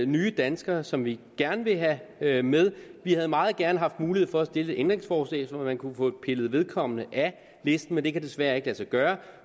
nye danskere som vi gerne vil have have med vi havde meget gerne haft mulighed for at stille et ændringsforslag så man kunne have fået pillet vedkommende af listen men det kan desværre ikke lade sig gøre